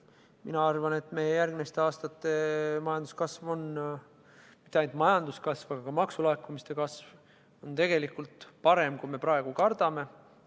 Mina arvan, et meie järgmiste aastate majanduskasv – ja mitte ainult majanduskasv, vaid ka maksulaekumiste kasv – on tegelikult parem, kui me praegu kardame.